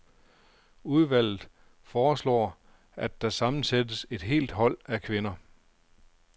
Udvalget foreslår at der sammensættes et helt hold af kvinder.